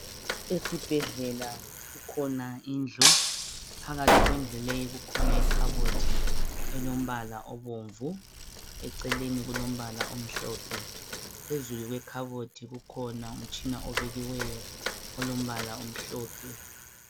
Esibhedlela kukhona indlu, phakathi kwendlu le kukhona ikhabothi elombala obomvu eceleni kulombala omhlophe. Phezulu kwekhabothi kukhona umtshina obekiweyo, olombala omhlophe.